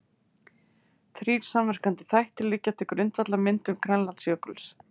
Þrír samverkandi þættir liggja til grundvallar myndun Grænlandsjökuls.